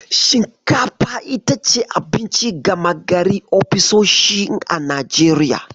Shinkafa itace abinci gama gari ofisoshin a Najeriya.